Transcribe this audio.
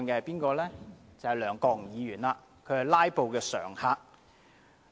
便是梁國雄議員，他是"拉布"常客。